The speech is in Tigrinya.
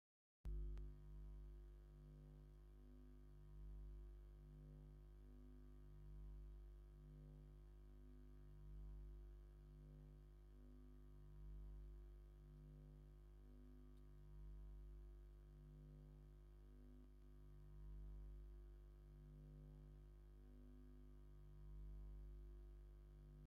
ሓደ ሰብኣይ ምስ ክልተ ኣፍራስ ኣብ ገጠር ይርአ። ሓደ ሰብኣይ ብድሕሪ እቲ ቡናዊ ፈረስ ደው ኢሉ እኽሊ ወሆ ይብል ኣሎ። ብደረቕ ሓሰር ዝተሸፈነ ኮይኑ፡ ኣብ ድሕሪት ድማ ባህላዊ ቁሚጦ ሓሰር ኣለዉ። እዚ ከባቢ ኣብ ኣየናይ ክልል እዩ ዘሎ?